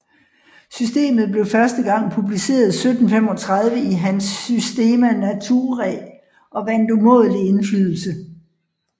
Systemet blev første gang publiceret 1735 i hans Systema Naturae og vandt umådelig indflydelse